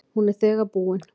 Hún er þegar búin.